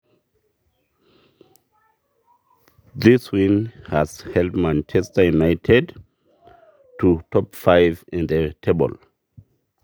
Ore ina mirishoi negira aidimie Man U peilep ompaka erishata e miet te misa.